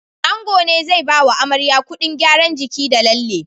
Ango ne zai Bawa amarya Ƙudin gyaran jiki da lalle